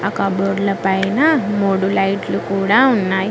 కబోర్డ్ల పైన మూడు లైట్లు కూడా ఉన్నాయ్.